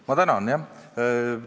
Ma tänan!